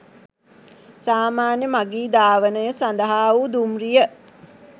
සාමාන්‍ය මගී ධාවනය සඳහා වූ දුම්රිය